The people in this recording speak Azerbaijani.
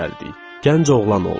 Gənc oğlan olduq.